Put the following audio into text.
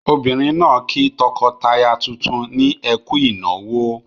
Obìnrin náà kí tọkọtaya tuntun ní "ẹ kú ìnáwó".